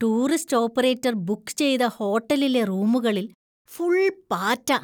Tourist operator book ചെയ്ത ഹോട്ടലിലെ റൂമുകളിൽ ഫുള്‍ പാറ്റ.